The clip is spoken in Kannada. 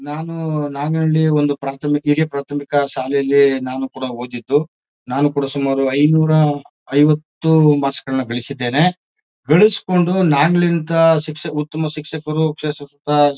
ನಾನು ನಾರ್ನಳ್ಳಿ ಒಂದು ಪ್ರಾಥಮಿಕ ಹಿರಿಯ ಪ್ರಾಥಮಿಕ ಶಾಲೆಯಲ್ಲಿ ನಾನು ಕೂಡ ಓದಿದ್ದು ನಾನು ಕುಡಾ ಸುಮಾರು ಐನೂರ ಐವತ್ತು ಮಾರ್ಕ್ಸ್ ಗಳನ್ನ ಗಳಸಿದೇನೆ ಗಳಿಸ್ಕೊಂಡು ನಾರ್ನಳ್ಳಿ ಅಂತ ಉತ್ತಮ ಶಿಕ್ಷಕರು .]